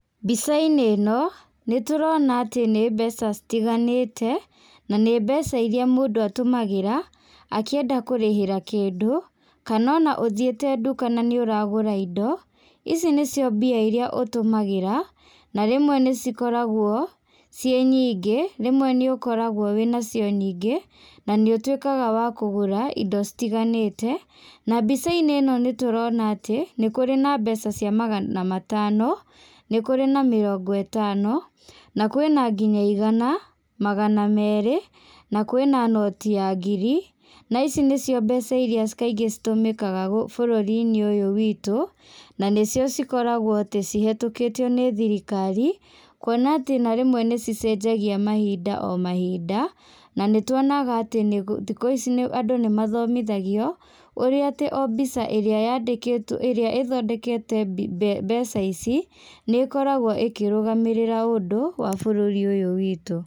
Mbicainĩ ĩno, nĩtũrona atĩ nĩ mbeca citiganĩte, na nĩ mbeca iria mũndũ atũmagĩra, akĩenda kũrĩhĩra kĩndũ, kana ona ũthiĩte nduka na nĩ ũragũra indo, ici nĩcio mbia iria ũtũmagĩra, na rĩmwe nĩcikoragwo, ciĩnyingi, rĩmwe nĩũkoragwo wĩnacio nyingĩ, na nĩ ũtuĩkaga wa kũgũra indo citiganĩte, na mbicainĩ ĩno nĩtũrona atĩ, nĩkũrĩ na mbeca cia magana matano, nĩkũrĩ na mĩrongo ĩtano, na kwĩ na nginya igana, magana merĩ, na kwĩ na noti ya ngiri, na ici nĩcio mbeca iria kaingĩ citumĩkaga gũk bũrũrinĩ ũyũ witũ, na nĩcio cikoragwoa atĩ cihetũkĩtio nĩ thirikari, kuona atĩ na rĩmwe nĩcicenjagia mahinda o mahinda, na nĩtuonaga atĩ nĩ thikũ ici andũ nĩmathomithagio, ũrĩa atĩ o mbica ĩrĩa yandĩkĩtwo ĩrĩa ĩthondekete mbi mbe mbeca ici, nĩkoragwo ĩkĩrũgamĩrĩra ũndũ, wa bũrũri ũyũ witũ.